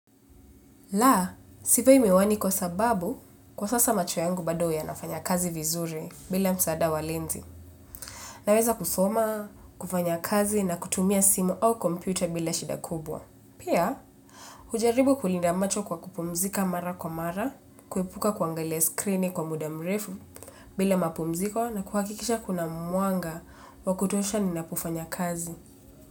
La, sivai miwani kwa sababu kwa sasa macho yangu bado yanafanya kazi vizuri bila msaada wa lenzi. Naweza kusoma, kufanya kazi na kutumia simu au kompyuta bila shida kubwa. Pia, hujaribu kulinda macho kwa kupumzika mara kwa mara, kuepuka kuangalia skrini kwa muda mrefu bila mapumziko na kuhakikisha kuna mwanga wa kutosha ninapofanya kazi.